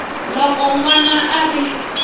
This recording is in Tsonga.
loko n wana a ri